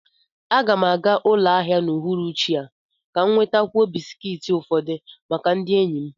Aga m aga ụlọ ahịa n'uhuruchi a ka m nwetakwuo bisikiiti ufodu maka ndị enyi m